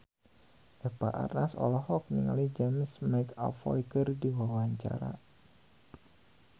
Eva Arnaz olohok ningali James McAvoy keur diwawancara